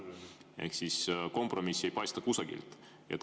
Ehk siis kompromissi ei paista kusagilt.